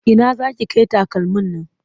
Ina za ki kai takalmin nan?